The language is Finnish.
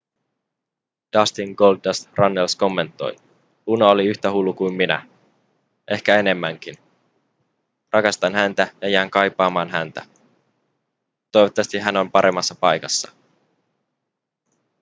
dustin goldust runnels kommentoi luna oli yhtä hullu kuin minä ehkä enemmänkin rakastan häntä ja jään kaipaamaan häntä toivottavasti hän on paremmassa paikassa